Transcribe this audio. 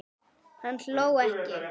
Hann hló ekki.